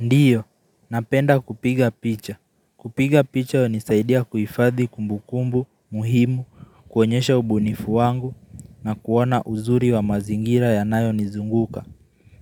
Ndiyo, napenda kupiga picha. Kupiga picha unisaidia kuifadhi kumbukumbu, muhimu, kuonyesha ubunifu wangu na kuona uzuri wa mazingira yanayo nizunguka.